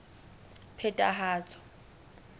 phethahatso